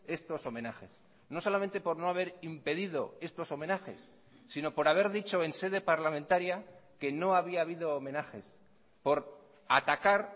estos homenajes no solamente por no haber impedido estos homenajes sino por haber dicho en sede parlamentaria que no había habido homenajes por atacar